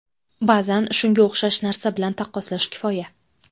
Ba’zan shunga o‘xshash narsa bilan taqqoslash kifoya.